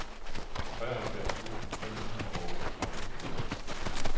treoghalvfjerds tusind fem hundrede og otteogtredive